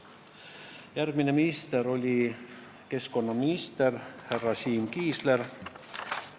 Järgmine minister oli keskkonnaminister härra Siim Kiisler.